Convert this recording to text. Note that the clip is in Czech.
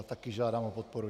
A taky žádám o podporu.